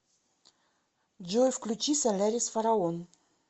джой включи солярис фараон